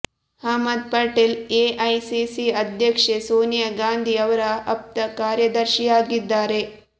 Ahmed Patel AICC ಅಧ್ಯಕ್ಷೆ ಸೋನಿಯಾ ಗಾಂಧಿ ಅವರ ಅಪ್ತ ಕಾರ್ಯದರ್ಶಿಯಾಗಿದ್ದಾರೆ